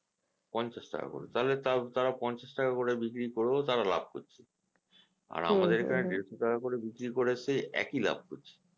পঞ্চাশ টাকা করে তালে তা তারা পঞ্চাশ টাকা করে বিক্রি করেও তারা লাভ করছে আর আমাদের এখানে দেড়শো টাকা করে বিক্রি করে সেই একই লাভ করছে